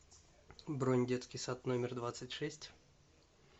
бронь детский сад номер двадцать шесть